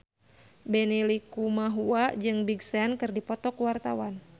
Benny Likumahua jeung Big Sean keur dipoto ku wartawan